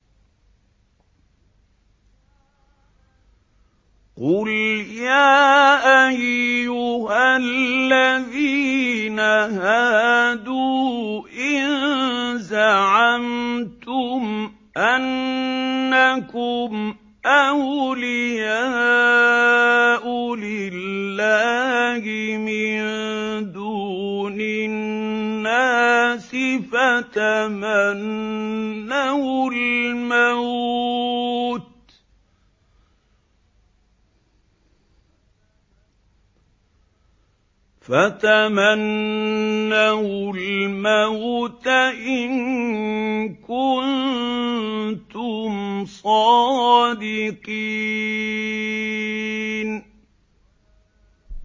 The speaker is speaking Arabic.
قُلْ يَا أَيُّهَا الَّذِينَ هَادُوا إِن زَعَمْتُمْ أَنَّكُمْ أَوْلِيَاءُ لِلَّهِ مِن دُونِ النَّاسِ فَتَمَنَّوُا الْمَوْتَ إِن كُنتُمْ صَادِقِينَ